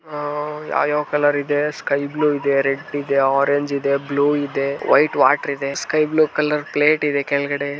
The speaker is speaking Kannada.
ಆಹಾ ಯಾವ್ಯಾವ್ ಕಲರ್ ಇದೆ ಸ್ಕೈ ಬ್ಲೂ ರೆಡ್ ಇದೆ ಆರೆಂಜ್ ಇದೆ ಬ್ಲೂ ಇದೆ ವೈಟ್ ವಾಟರ್ ಇದೆ ಸ್ಕೈ ಬ್ಲೂ ಕಲರ್ ಪ್ಲೇಟ್ ಇದೆ ಕೆಳಗಡೆ.